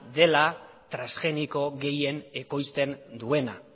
dela trasgeniko gehien ekoizten duena